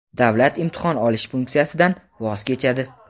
davlat imtihon olish funksiyasidan voz kechadi.